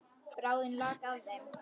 Bráðin lak af þeim.